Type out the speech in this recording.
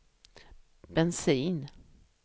bensin